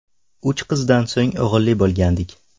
Uch qizdan so‘ng o‘g‘illi bo‘lgandik.